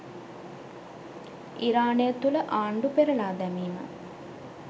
ඉරානය තුළ ආණ්ඩු පෙරළා දැමීම